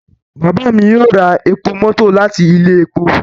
Baba mi yoo ra epo mọto lati ile epo